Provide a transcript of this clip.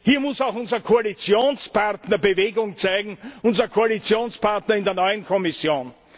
Hier muss auch unser Koalitionspartner Bewegung zeigen, unser Koalitionspartner in der neuen Kommission.